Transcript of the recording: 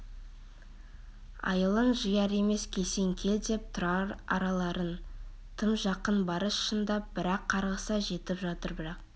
айылын жияр емес келсең-кел деп тұр аралары тым жақын барыс шындап бір-ақ қарғыса жетіп жатыр бірақ